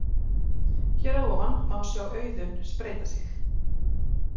Hér að ofan má sjá Auðunn spreyta sig.